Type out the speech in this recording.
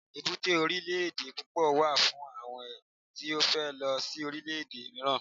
èbúté orilẹ ede púpò wà fún àwọn tí o fe lo si orile ede miiran